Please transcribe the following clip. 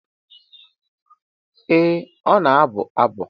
Ee ọ na-abụ abụ.